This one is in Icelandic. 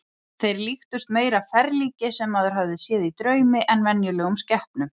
Þeir líktust meira ferlíki sem maður hafði séð í draumi en venjulegum skepnum.